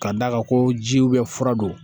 Ka d'a kan ko ji fura don